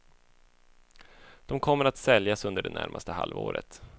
De kommer att säljas under det närmaste halvåret.